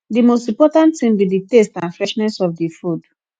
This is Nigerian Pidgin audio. di most important thing be di taste and freshness of di food